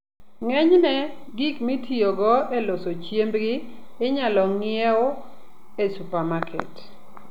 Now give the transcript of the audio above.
Ng'enyne, gik mitiyogo e loso chiembgi inyalo ng'iewo e supamaket.